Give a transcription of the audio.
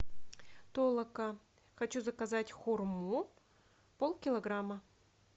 толока хочу заказать хурму полкилограмма